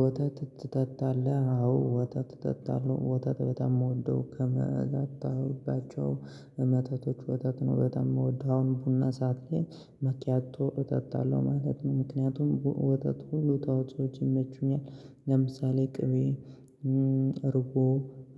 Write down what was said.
ወተት ትጠጣለህ? አዎ ወተት እጠጣለው ወተት በጣም የምወደው ከመጣችሁባቸው መተቶች ወተት ነው በጣም ነው ምወደው አሁን ቡና ሰዓት ላይ መኪያቶ እጠጣለው ማለት ነው። ምክንያቱም ወተት ሁሉ ተዋጾችን ይመቹኛል። ለምሳሌ ቅቤ እርጎ